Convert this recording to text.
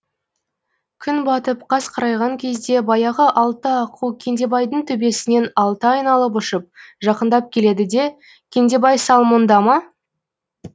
күн батып қас қарайған кезде баяғы алты аққу кендебайдың төбесінен алты айналып ұшып жақындап келеді де кендебай сал мұнда ма